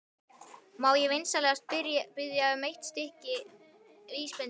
Má ég vinsamlega biðja um eitt stykki vísbendingu?